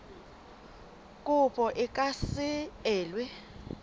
kopo e ka se elwe